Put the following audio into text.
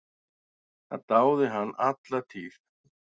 Það dáði hann alla tíð.